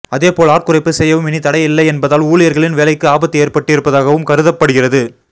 அதேபோல் ஆட்குறைப்பு செய்யவும் இனி தடை இல்லை என்பதால் ஊழியர்களீன் வேலைக்கு ஆபத்து ஏற்பட்டு இருப்பதாகவும் கருதப்படுகிறது